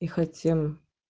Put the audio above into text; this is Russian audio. не хотим